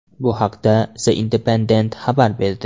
Bu haqda The Independent xabar berdi .